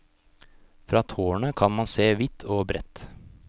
Fra tårnet kan man se vidt og bredt.